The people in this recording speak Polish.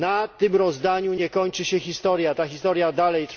Na tym rozdaniu nie kończy się historia, ta historia toczy się dalej.